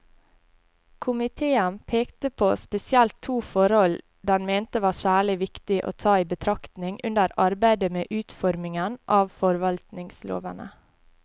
Komiteen pekte på spesielt to forhold den mente var særlig viktig å ta i betraktning under arbeidet med utformingen av forvaltningslovene.